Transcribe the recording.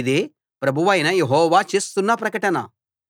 ఇదే ప్రభువైన యెహోవా చేస్తున్న ప్రకటన